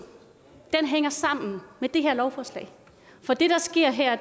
hænger sammen med det her lovforslag for det der sker her